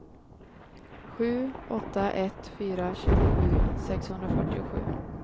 sju åtta ett fyra tjugosju sexhundrafyrtiosju